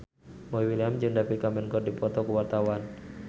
Boy William jeung David Cameron keur dipoto ku wartawan